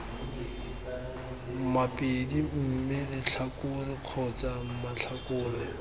mabedi mme letlhakore kgotsa matlhakore